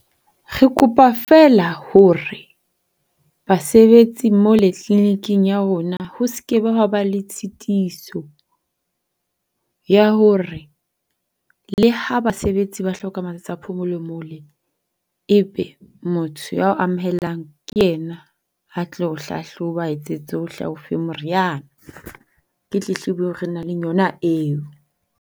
Re kopa fela hore basebetsi mole clinic-eng ya rona ho skebe hwaba le tshitiso ya hore le ha basebetsi ba hloka matsatsi a phomolo mole ebe motho ya o amohelang ke yena ya tlo o hlahloba, aa etsetse tsohle ao fe moriana. Ke tletlebo feela e re nang le yona eo.